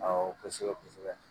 Awɔ kosɛbɛ kosɛbɛ